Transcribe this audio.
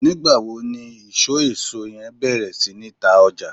nigba wo ni iso eso yen beer si ni ta oja?